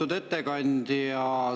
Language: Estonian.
Lugupeetud ettekandja!